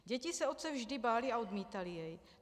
Děti se otce vždy bály a odmítaly jej.